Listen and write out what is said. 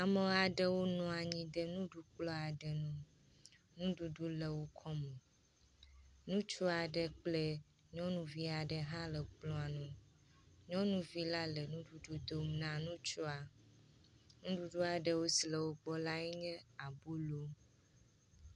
Ama ɖewo nɔ anyi ɖe nuɖukplɔ̃ aɖe ŋu, ŋuɖuɖu le wo kɔme, ŋutsua ɖe kple nyɔnuvia ɖe hã le kplɔ̃a nu. Nyɔnuvi la le nuɖuɖu dom na nutsua, nuɖuɖua ɖewo si le wo gbɔ lae nye abolo.